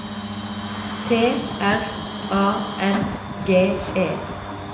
T R A N G E